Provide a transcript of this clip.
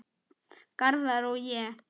Garðar og ég